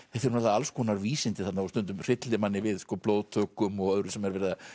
alls konar vísindi þarna og stundum hryllir manni við blóðtökum og öðru sem er verið að